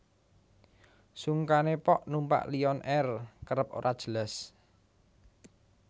Sungkane pok numpak Lion Air kerep ora jelas